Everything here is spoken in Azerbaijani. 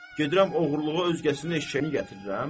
Gedirəm oğurluğa özgəsinin eşşəyini gətirirəm?